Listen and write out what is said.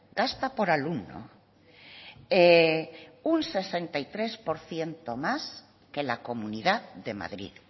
gasta por alumno un sesenta y tres por ciento más que la comunidad de madrid